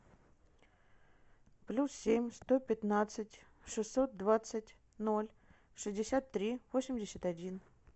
плюс семь сто пятнадцать шестьсот двадцать ноль шестьдесят три восемьдесят один